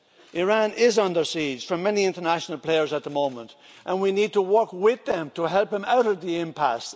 Iran is under siege from many international players at the moment and we need to work with them to help them out of the impasse.